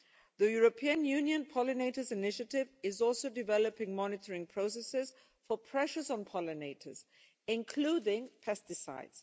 The European Union pollinators initiative is also developing monitoring processes for pressures on pollinators, including pesticides.